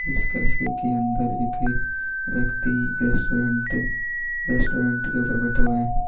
इस कैफ़े के अंदर एक व्यक्ति रेस्टोरेंट रेस्टोरेंट के ऊपर बैठा हुआ है।